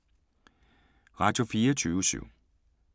Radio24syv